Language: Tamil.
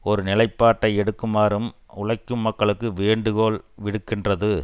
ஒரு நிலைப்பாட்டை எடுக்குமாறும் உழைக்கும் மக்களுக்கு வேண்டுகோள் விடுக்கின்றது